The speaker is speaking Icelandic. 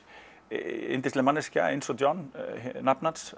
yndisleg manneskja eins og John nafni hans